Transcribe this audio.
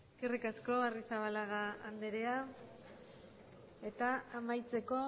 eskerrik asko arrizabalaga andrea eta amaitzeko